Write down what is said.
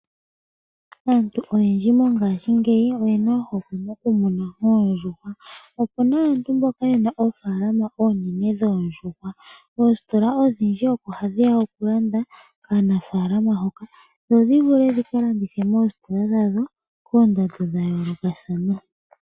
Aantu oyendji mongaashingeyi oyena ohokwe mokumuna oondjuhwa. Opuna aantu mboka yena oofaalama oonene dhoondjuhwa. Oositola odhindji oko hadhiya okulanda kaanafaalama mboka, dho dhivule dhikalandithe moositola dhadho, koondando dhayoolokathana.